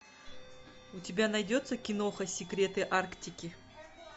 у тебя найдется киноха секреты арктики